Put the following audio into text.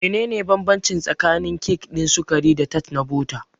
Menene bambanci tsakanin kek ɗin sukari da tart na bota?